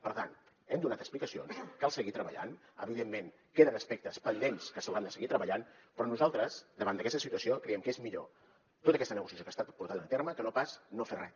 per tant hem donat explicacions cal seguir treballant evidentment queden aspectes pendents que s’hauran de seguir treballant però nosaltres davant d’aquesta situació creiem que és millor tota aquesta negociació que ha estat portada a terme que no pas no fer res